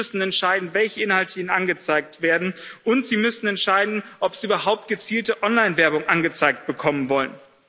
Sie müssen entscheiden, welche Inhalte ihnen angezeigt werden, und sie müssen entscheiden, ob sie überhaupt gezielte Online Werbung angezeigt bekommen wollen.